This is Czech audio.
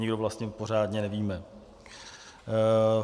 Nikdo vlastně pořádně nevíme.